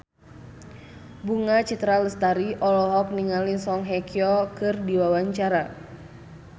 Bunga Citra Lestari olohok ningali Song Hye Kyo keur diwawancara